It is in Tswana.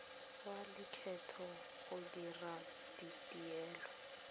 wa lekgetho go dira dituelo